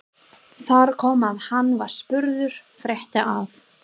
Þar kom að hann var spurður frétta af